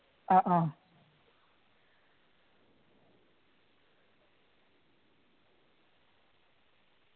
ആ ആ